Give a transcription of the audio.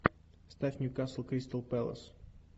ставь ньюкасл кристал пэлас